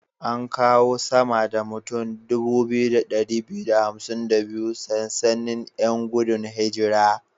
An kawo sama da mutan 2252 sansanin 'yan gudun hijira.